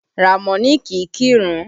Ramoni kì í kírun